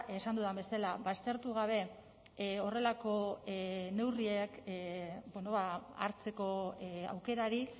esan dudan bezala aztertu gabe horrelako neurriak bueno hartzeko aukerarik